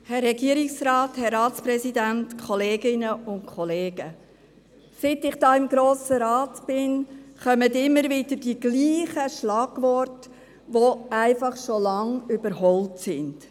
Seit ich im Grossen Rat bin, kommen immer wieder die gleichen Schlagworte, die einfach schon lange überholt sind.